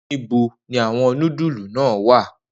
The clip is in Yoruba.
Nibo ni awọn nudulu naa wa?